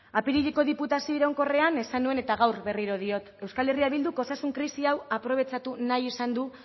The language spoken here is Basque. apirileko diputazio iraunkorrean esan nuen eta gaur berriro diot euskal herria bilduk osasun krisi hau aprobetxatu nahi izan du